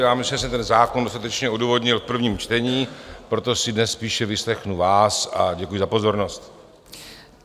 Já myslím, že jsem ten zákon dostatečně odůvodnil v prvním čtení, proto si dnes spíše vyslechnu vás, a děkuju za pozornost.